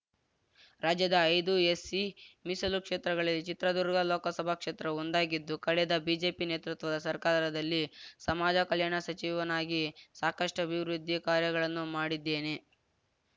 ರಾಜ್ಯದ ಐದು ಎಸ್‌ಸಿ ಮೀಸಲು ಕ್ಷೇತ್ರಗಳಲ್ಲಿ ಚಿತ್ರದುರ್ಗ ಲೋಕಸಭಾ ಕ್ಷೇತ್ರವೂ ಒಂದಾಗಿದ್ದು ಕಳೆದ ಬಿಜೆಪಿ ನೇತೃತ್ವದ ಸರ್ಕಾರದಲ್ಲಿ ಸಮಾಜ ಕಲ್ಯಾಣ ಸಚಿವನಾಗಿ ಸಾಕಷ್ಟುಅಭಿವೃದ್ಧಿ ಕಾರ್ಯಗಳನ್ನು ಮಾಡಿದ್ದೇನೆ